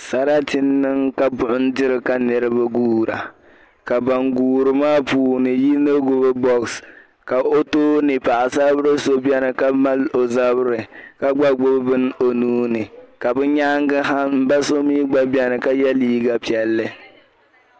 Sarati n-niŋ ka buɣim diri ka niriba guura ka ban guuri maa puuni yino gbibi bɔɣisi ka o tooni paɣisaribila so beni ka maali ka zabiri ka gba gbibi bini o nuu ni ka bɛ nyaaŋga ha m-ba so mi gba beni ka ye liiga piɛlli.